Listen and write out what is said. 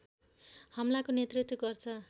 हमलाको नेतृत्व गर्छ